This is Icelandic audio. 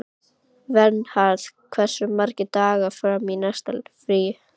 Vernharð, hversu margir dagar fram að næsta fríi?